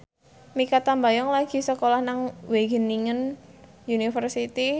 Mikha Tambayong lagi sekolah nang Wageningen University